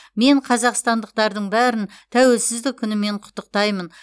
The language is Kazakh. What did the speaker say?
мен қазақстандықтардың бәрін тәуелсіздік күнімен құттықтаймын